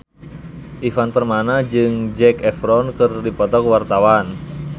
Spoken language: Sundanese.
Ivan Permana jeung Zac Efron keur dipoto ku wartawan